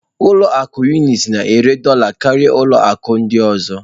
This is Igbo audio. Ụlọ akụ Unitị na-ere dola karịa ụlọ akụ ọ ndị ọzọ.